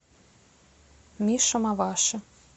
миша маваши